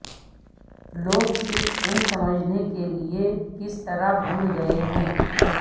لوگ صرف ان سمجھنے کے لئے کس طرح بھول گئے ہیں